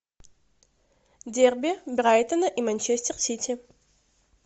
дерби брайтона и манчестер сити